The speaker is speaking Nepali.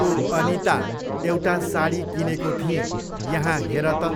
ओ अनिता, एउटा साडी किनेको थिएँ, यहाँ हेर त।